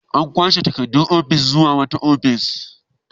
An kwashe takardu ofis zuwa wata ofis